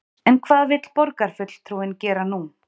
En hvað vill borgarfulltrúinn gera nú?